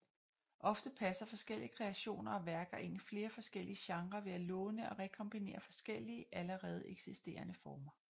Ofte passer forskellige kreationer og værker ind i flere forskellige genrer ved at låne og rekombinere forskellige allerede eksisterende former